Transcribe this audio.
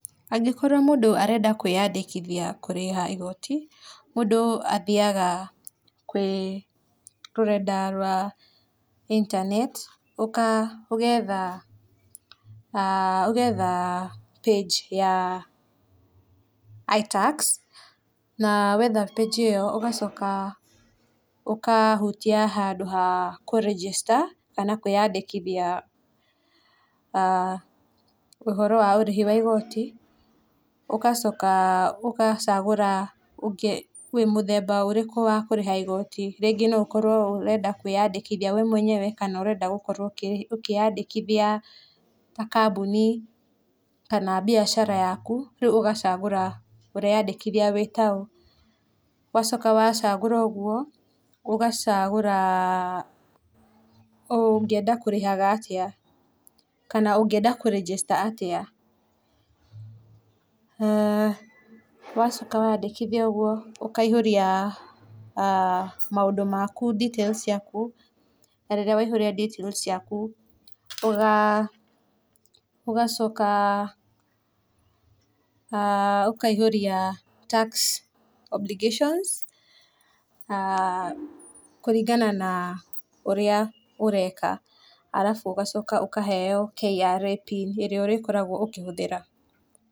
Angĩkorwo mũndũ arenda kwĩandĩkithia kũrĩha igoti, mũndũ athiaga rũrenda rwa intaneti. ũgetha page ya Itax na wetha page e ĩyo ũkahutia handũ ha kũ register na kwĩandĩkithia ũhoro wa ũrĩhi wa igoti, ũgacoka ũgacagũra mũthemba ũrĩkũ wa kũrĩha igoti rĩngĩ noũkorwo ũrenda kwĩandĩkithia we mwenyewe kana ũrenda ũkĩandĩkithia kambũni kana biacara yaku ũgacagũra ũreandĩkithia wĩ taũ ,wacoka wacagũra ũguo ũgacagũra[uhh]ũngeanda kũrĩha atĩa kana ũngeanda kũ register atĩa ,wacoka wandĩkithia ũguo ũkahiũria [uhh]maũndũ maku details ciaku na rĩrĩa ũgacoka[uhh] ũkaihũria tax obligation[uhh]kũringana na ũrĩa ũreka arabu ũgacoka ũkaheo KRA pin ĩrĩa ũgakorwa ũgĩhũthĩra.